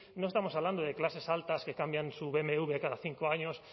no estamos hablando de clases altas que cambian su bmw cada cinco años